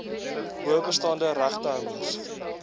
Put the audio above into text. bo bestaande regtehouers